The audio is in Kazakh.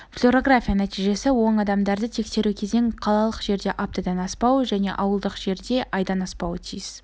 флюорография нәтижесі оң адамдарды тексеру кезеңі қалалық жерде аптадан аспауы және ауылдық жерде айдан аспауы тиіс